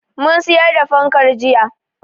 Mun siyar da fankar jiya.